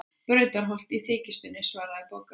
Brautarholt í þykjustunni, svaraði Bogga.